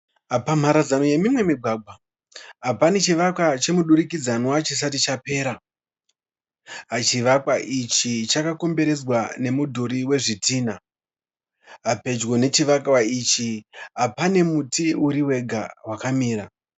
Pamharadzano yemimwe migwagwa pane chivakwa chemudurikidzanwa chisati chapera. Chivakwa ichi chakakomberedzwa nemudhuri wezvidhinha. pedyo pechivakwa ichi pane muti uri wega wakamira.